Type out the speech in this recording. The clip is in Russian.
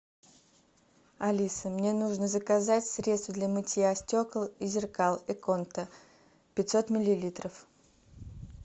алиса мне нужно заказать средство для мытья стекол и зеркал эконта пятьсот миллилитров